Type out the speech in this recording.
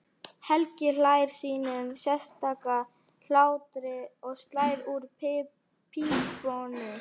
Helgi hlær sínum sérstaka hlátri og slær úr pípunni.